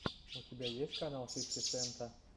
у тебя есть канал фифти сента